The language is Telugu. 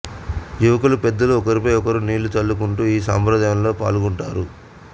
యువకులు పెద్దలు ఒకరిపై ఒకరు నీళ్లు చల్లుకుంటూ ఈ సంప్రదాయంలో పాల్గొంటారు